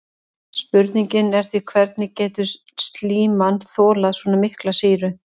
Spurningin er því hvernig getur slíman þolað svona mikla sýru?